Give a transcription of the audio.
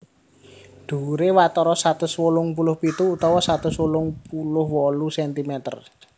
Dhuwuré watara satus wolung puluh pitu utawa satus wolung puluh wolu cm